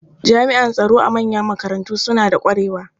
Jami'an tsaro a manyan makarantu suna da ƙwarewa.